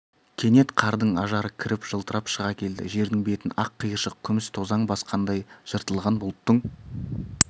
кенет қардың ажары кіріп жылтырап шыға келді жердің бетін ақ қиыршақ күміс тозаң басқандай жыртылған бұлттың